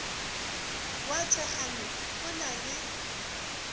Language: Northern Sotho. wa thekgano o na le